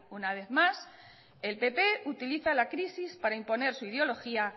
una vez más el pp utiliza la crisis para imponer su ideología